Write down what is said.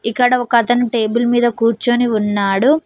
ఇక్కడ ఒక అతను టేబుల్ మీద కూర్చొని ఉన్నాడు.